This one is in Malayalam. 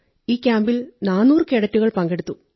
ഈ ക്യാമ്പിൽ 400 കേഡറ്റുകൾ പങ്കെടുത്തു